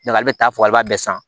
ale bɛ taa fɔ ale b'a bɛɛ san